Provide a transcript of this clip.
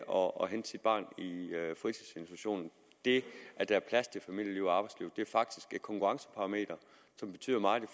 og hente sit barn i fritidsinstitutionen det at der er plads til familieliv og arbejdsliv er faktisk et konkurrenceparameter som betyder meget i